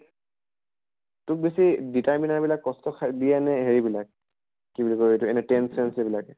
তোক বেছি determine বিলাক কষ্ট খাই দিয়ে নে হেৰি বিলাক কি বুলি কয় এইটো এনে tense চেন্চ এইবিলাকে?